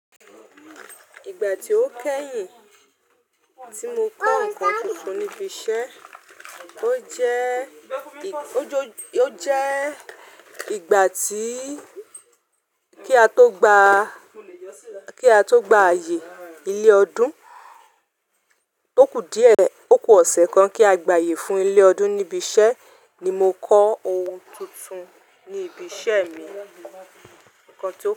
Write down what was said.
Ìgbà tí ó kẹ́yìn tí mo kọ́ nǹkan tuntun níbi iṣẹ́, ó jo, ó jẹ́ ìgbà tí kí á tó gba, kí á tó gba ààyè ilé ọdún. Ó kù díẹ̀, ó kù ọ̀sẹ̀ kan kí a gba ààyè fún ilé ọdún níbi iṣẹ́ ni mo kọ́ ohun tuntun ní ibi iṣẹ́ mi. Nnkàn tí ó.